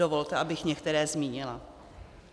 Dovolte, abych některé zmínila.